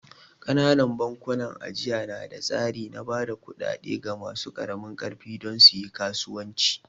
Ƙananan bankunan ajiya na da tsari na ba da kuɗaɗe ga masu ƙaramin ƙarfi don su yi kasuwanci